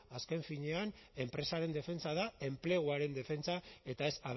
azken finean enpresaren defentsa da enpleguaren defentsa eta ez